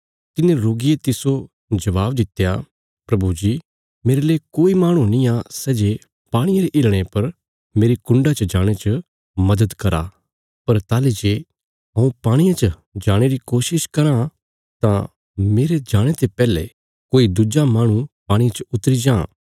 तिने रोगिये तिस्सो जबाब दित्या प्रभु जी मेरले कोई माहणु निआं सै जे पाणिये रे हिलणे पर मेरी कुण्डा च जाणे च मदद करा पर ताहली जे हऊँ पाणिये च जाणे री कोशिश करां तां मेरे जाणे ते पैहले कोई दुज्जा माहणु पाणिये च उतरी जां